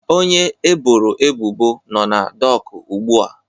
Onye eboro ebubo nọ na dọkụ ugbu a